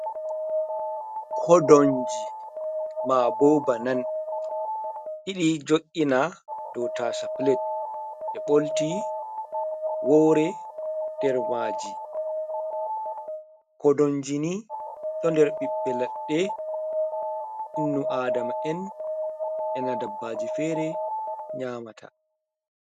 Kodonji ma bo banan ɗiɗi jo’ina ɗou tasa pilet ɓe bolti wore nder maji kodonji ni to der ɓibbe leɗɗe innu adama en ena dabbaji fere nyamata.